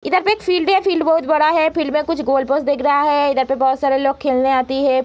इधर पे एक फील्ड है। फील्ड बहुत बड़ा है। फील्ड में कुछ गोल पोस्ट दिख रहा है। इधर पे बहुत सारे लोग खेलने आती है।